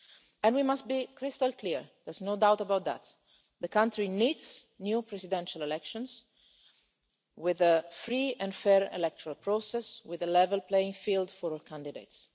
And we must be crystal clear, there's no doubt about that. The country needs new presidential elections with a free and fair electoral process, with a level playing field for all candidates.